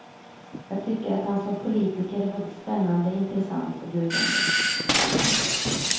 Jag tycker att han som politiker är både spännande, intressant och dugande.